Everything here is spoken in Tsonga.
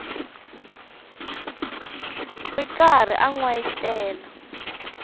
ri karhi a n wayitela